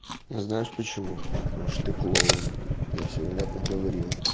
знаешь почему потому что ты клоун я всё внятно говорил